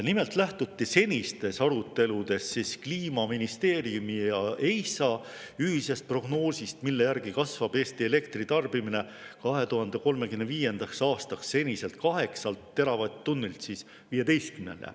Nimelt lähtuti senistes aruteludes Kliimaministeeriumi ja EISA ühisest prognoosist, mille järgi kasvab Eesti elektritarbimine 2035. aastaks seniselt 8 teravatt-tunnilt 15-le.